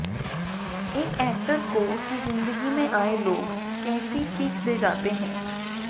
एक ऐक्टर को उसकी ज़िंदगी में आए लोग कैसी सीख दे जाते हैं